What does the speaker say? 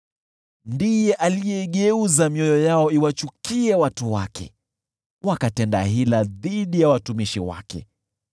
ndiye aliigeuza mioyo yao iwachukie watu wake, wakatenda hila dhidi ya watumishi wake.